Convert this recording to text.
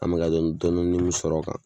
An be ka laɲini dɔndɔnni min sɔrɔ o kan